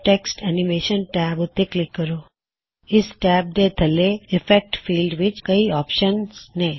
text animation tab ਉੱਤੇ click ਕਰੋ ਇਸ ਟੈਬ ਦੇ ਥੱਲੇ ਇਫੇਕਟ ਫੀਲਡ ਵਿੱਚ ਕਈ ਆਪਸ਼ਨਜ਼ ਨੇ